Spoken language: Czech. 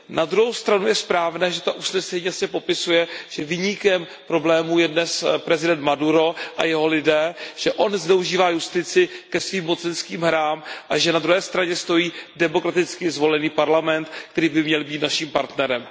Na druhou stranu je správné, že to usnesení jasně popisuje, že viníkem problému je dnes prezident Maduro a jeho lidé, že on zneužívá justici ke svým mocenským hrám a že na druhé straně stojí demokraticky zvolený parlament, který by měl být našim partnerem.